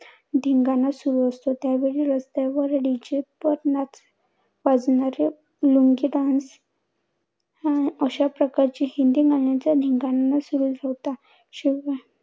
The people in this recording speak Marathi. धिंगाणा सुरु असतो. त्यावेळी रस्त्यावर DJ वर वाजणारे लुंगी Dance अं अशाप्रकारचे हिंदी गाण्यांचा धिंगाणा सुरु होता. शिवाय